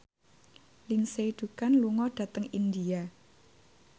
Lindsay Ducan lunga dhateng India